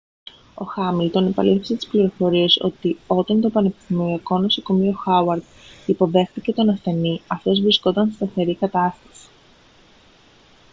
ο χάμιλτον επαλήθευσε τις πληροφορίες ότι όταν το πανεπιστημιακό νοσοκομείο χάουαρντ υποδέχθηκε τον ασθενή αυτός βρισκόταν σε σταθερή κατάσταση